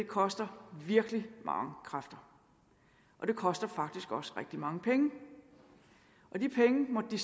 koster virkelig mange kræfter og det koster faktisk også rigtig mange penge og de penge måtte de